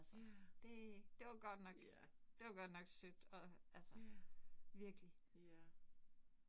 Ja. Ja. Ja. Ja